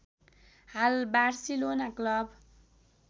हाल Barcelona club